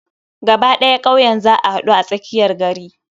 Gaba ɗaya kauyen za a haɗu a tsakiyar gari.